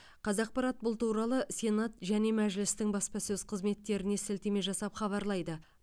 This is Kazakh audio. қазақпарат бұл туралы сенат және мәжілістің баспасөз қызметтеріне сілтеме жасап хабарлайды